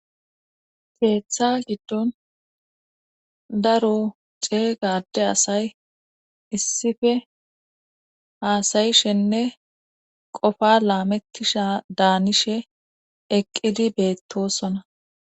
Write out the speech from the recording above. Geeththa giddon daro ceeygade asay issife haasayishenne qofa laamettisha daanishe eqqidi beettosona